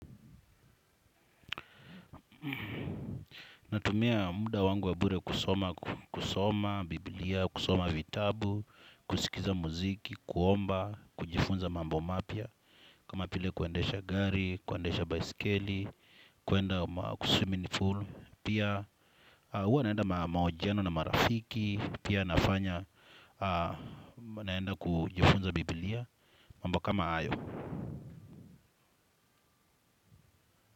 Natumia muda wangu wa bure kusoma, kusoma, bibilia, kusoma vitabu, kusikiza muziki, kuomba, kujifunza mambo mapya. Kama vile kuendesha gari, kuendesha baisikeli, kuenda swimming pool. Pia huwa naenda mahojiano na marafiki, pia nafanya huwa naenda kujifunza bibilia, mambo kama hayo.